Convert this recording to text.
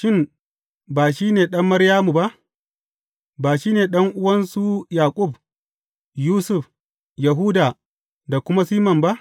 Shin, ba shi ne ɗan Maryamu ba, ba shi ne ɗan’uwan su Yaƙub, Yusuf, Yahuda da kuma Siman ba?